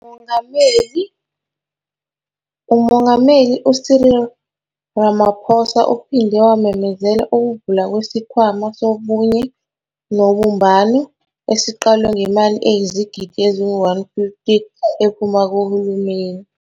UMongameli uMongameli u-Cyril Ramaphosa uphinde wamemezela ukuvulwa kwesiKhwama Sobunye Nobumbano, esiqalwe ngemali eyizigidi ezi-R150 ephuma kuhulumeni.